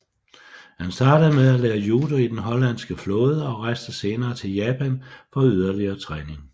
Han startede med at lære judo i den hollandske flåde og rejste senere til Japan for yderligere træning